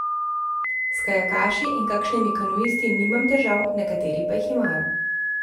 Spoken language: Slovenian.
S kajakaši in kakšnimi kanuisti nimam težav, nekateri pa jih imajo.